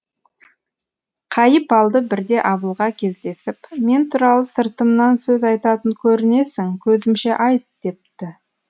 қайыпалды бірде абылға кездесіп мен туралы сыртымнан сөз айтатын көрінесің көзімше айт депті